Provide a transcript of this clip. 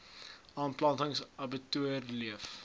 aanplanting abbatior olyf